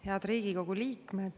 Head Riigikogu liikmed!